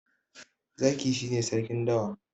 Zaki shi ne sarkin dawa.